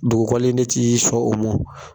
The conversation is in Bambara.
Dugukolo in de ti sɔn o ma.